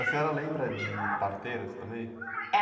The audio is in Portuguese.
A senhora lembra de parteiras também?h.